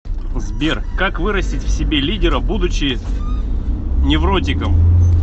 сбер как вырастить в себе лидера будучи невротиком